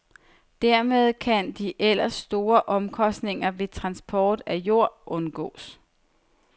Dermed kan de ellers store omkostninger ved transport af jord undgås.